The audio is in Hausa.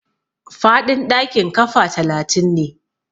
Faɗin ɗakin kafa talatin ne.